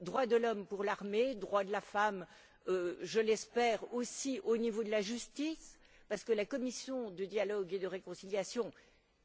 Droits de l'homme pour l'armée. Droits de la femme, je l'espère aussi, au niveau de la justice, parce que la commission de dialogue et de réconciliation,